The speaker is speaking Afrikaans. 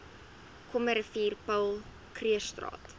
krommerivier paul krugerstraat